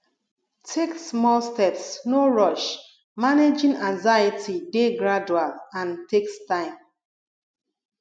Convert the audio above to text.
take small steps no rush managing anxiety dey gradual and takes time